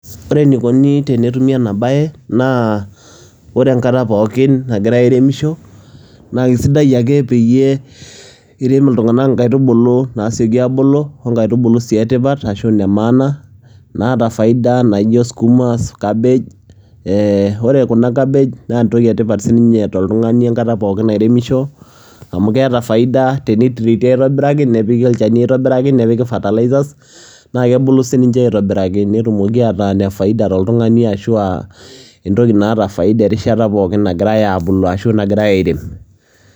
Ore enikoni tenetumi ena baye naa ore enkata pookin nagirai airemisho naake sidai ake peyie irem iltung'anak inkaitubulu naasioki aabulu o nkaitubulu sii e tipat ashu ine maana, naata faida naijo sukuma, cabbage. Ee ore kuna cabbage naa entoki e tipat sininye toltung'ani enkata pookin nairemisho amu keeta faida teniteati aitobiraki, nepiki olchani aitobiraki, nepiki fertilizers, naake ebuku sininje aitobiraki netumoki ataa ine faida toltung'ani ashu a entoki naata faida erishata pookin nagirai aabulu ashu nagirai airem.